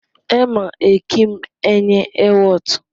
Ẹma ẹkịm enye ẹwot.